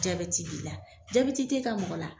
Jaabɛti b'ila, jaabɛti tɛ ka mɔgɔ la.